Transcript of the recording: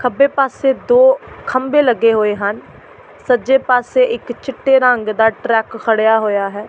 ਖੱਬੇ ਪਾਸੇ ਦੋ ਖੰਬੇ ਲੱਗੇ ਹੋਏ ਹਨ ਸੱਜੇ ਪਾਸੇ ਇੱਕ ਚਿੱਟੇ ਰੰਗ ਦਾ ਟਰੱਕ ਖੜਿਆ ਹੋਇਆ ਹੈ।